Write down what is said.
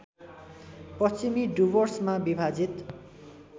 पश्चिमी डुवर्समा विभाजित